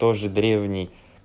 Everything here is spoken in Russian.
тоже древний